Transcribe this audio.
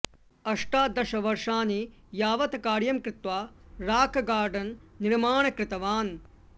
अष्टादशवर्षाणि यावत् कार्यं कृत्वा राक् गार्डन् निर्माण कृतवान्